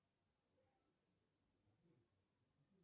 салют денег дашь мне